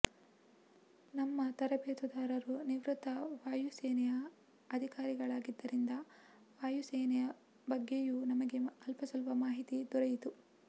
ನಮ್ಮ ತರಬೇತುದಾರರು ನಿವೃತ್ತ ವಾಯುಸೇನೆಯ ಅಧಿಕಾರಿಗಳಾಗಿದ್ದರಿಂದ ವಾಯುಸೇನೆಯ ಬಗ್ಗೆಯೂ ನಮಗೆ ಅಲ್ಪಸ್ವಲ್ಪ ಮಾಹಿತಿ ದೊರೆಯಿತು